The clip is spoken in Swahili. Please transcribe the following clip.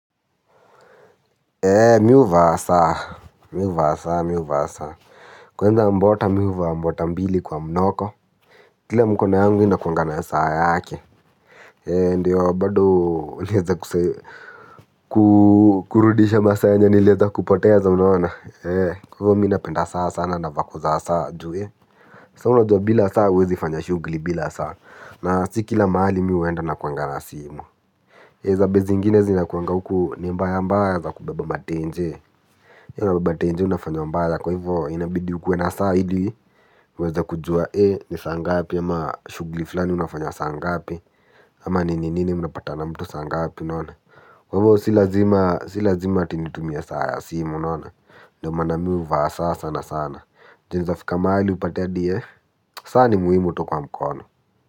Ee mi uvaa saa mi uvaa saa mi uvaa saa kwenza mbota mi uvaa mbota mbili kwa mnoko kile mkona yangu ina kuanga na ya saa yake ee ndiyo bado uleza kuse kukurudisha masaa yenye nileza kupoteza mnaona ee kwa hivyo mina penda saa sana na vako za saa ju we sa una jua bila saa uwezi fanya shugli bila saa na sikila maali mi uenda na kuangana simu eza bezi inginezi ina kuangana uku ni mba ya mba ya za kubeba matenje. Yau nababate nje unafanyo mbaya kwa hivyo inabidi ukuwe na saa ili uweze kujua eh ni saa ngapi ama shugli fulani unafanya saa ngapi ama nini unapatana na mtu saa ngapi unaona. Wa ivo silazima silazima ati nitumia saa ya simu naona. Ndoma nami uvaa saa sana sana. Ju neza fika maali upate adie. Saa ni muhimu tu kwa mkono.